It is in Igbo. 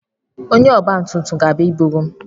Onye ọgba tum tum o ga-abia iburu m.